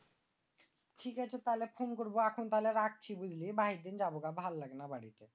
ঠিক আছে তাইলে পরে phone করব এখন রাখছি। বাইরিদিন যাবোগা ভাললাগেনা বাইরে।!